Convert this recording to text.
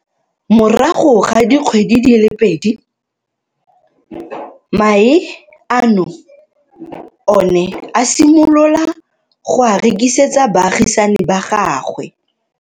Morago ga dikgwedi di le pedi, mae ano o ne a simolola go a rekisetsa baagisani ba gagwe.